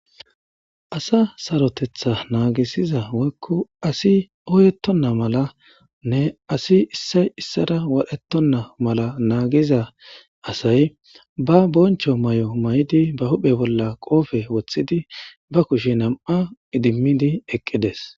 Asa sarotetha naagisiza woykko asi oyettonna mala nne asi issay issara wadhetonna mala naagiza asay ba boncho may7o may7di ba huphe bolla qoofe wothidi ba kushe nam7a idimidi eqqides.